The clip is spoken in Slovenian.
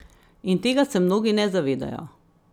In tega se mnogi ne zavedajo.